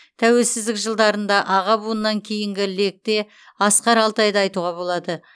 тәуелсіздік жылдарында аға буыннан кейінгі лекте асқар алтайды айтуға болады